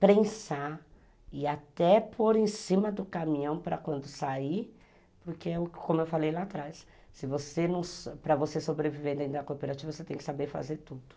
prensar e até pôr em cima do caminhão para quando sair, porque como eu falei lá atrás, para você sobreviver dentro da cooperativa você tem que saber fazer tudo.